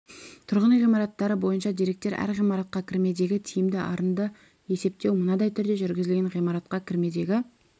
тұрғын үй ғимараттары бойынша деректер әр ғимаратқа кірмедегі тиімді арынды есептеу мынадай түрде жүргізілген ғимаратқа кірмедегі